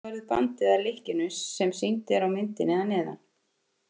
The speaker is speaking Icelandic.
Þannig verður bandið að lykkjunni sem sýnd er á myndinni að neðan.